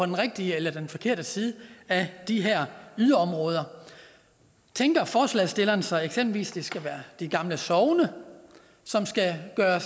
den rigtige eller den forkerte side af de her yderområder tænker forslagsstillerne sig eksempelvis at det skal være de gamle sogne som skal være